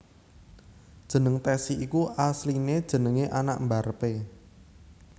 Jeneng Tessy iku asline jenenge anak mbarep e